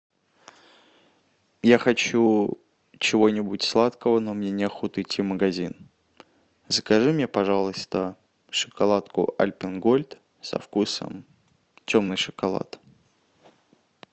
я хочу чего нибудь сладкого но мне не охота идти в магазин закажи мне пожалуйста шоколадку альпен гольд со вкусом черный шоколад